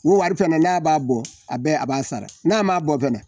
N'o wari fana n'a b'a bɔ, a bɛɛ a b'a sara n'a b'a bɔ fana